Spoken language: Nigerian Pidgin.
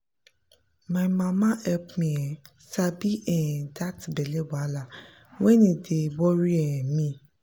my mama help me um sabi um that belly wahala when e dey worry um me